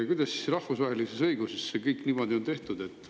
Kuidas see siis rahvusvahelises õiguses niimoodi on?